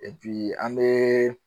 an bɛ